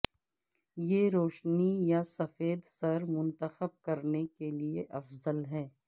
یہ روشنی یا سفید سر منتخب کرنے کے لئے افضل ہے